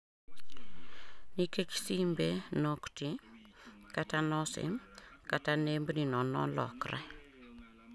Nikech simbe noktii, kata nosim katanembni nonolokre